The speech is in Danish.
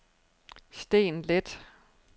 Steen Leth